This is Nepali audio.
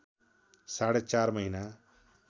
साढे चार महिना